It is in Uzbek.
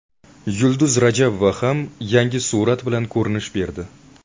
Yulduz Rajabova ham yangi surat bilan ko‘rinish berdi.